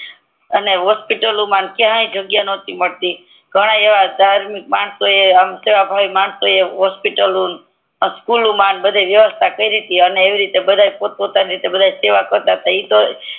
અને હોસ્પિટલો મા ક્યાંય જગ્યા નટી મળતી ગણાય એવા ધાર્મિક માણસો ઈ આમ હોસ્પિટલો ને સચોળો મા ને બધી વ્યવસ્થા કરી હતી ને બધા પોત પોતાની રીતે સેવ કરતાં તા ઈ તો